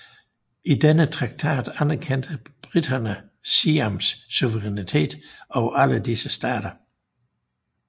I denne traktat anerkendte briterne Siams suverænitet over alle disse stater